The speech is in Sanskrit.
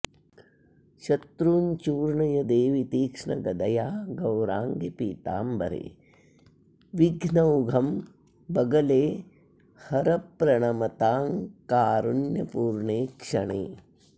शत्रूंश्चूर्णय देवि तीक्ष्णगदया गौराङ्गि पीताम्बरे विघ्नौघम्बगले हर प्रणमताङ्कारुण्यपूर्णेक्षणे